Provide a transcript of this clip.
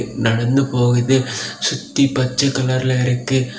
நடந்து போகுது சுத்தி பச்ச கலர்ல இருக்கு.